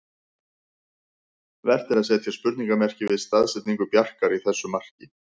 Vert er að setja spurningarmerki við staðsetningu Bjarkar í þessu marki.